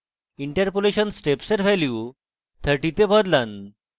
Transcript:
interpolation steps এর value 30 তে বদলান